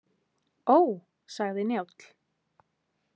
Ó, sagði Njáll.